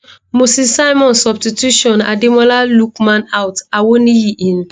moses simon substitution ademola lookman out awoniyi in